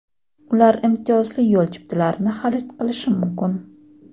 Ular imtiyozli yo‘l chiptalarini xarid qilishi mumkin.